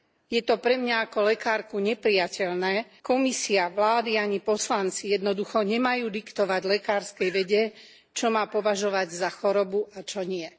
Je to pre mňa ako lekárku neprijateľné Komisia, vlády ani poslanci jednoducho nemajú diktovať lekárskej vede, čo má považovať za chorobu a čo nie.